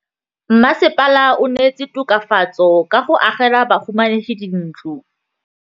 Mmasepala o neetse tokafatsô ka go agela bahumanegi dintlo.